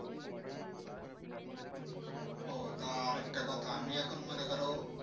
ও তার একটা কথা আমি এখন মানে ধরো